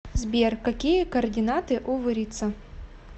сбер какие координаты у вырица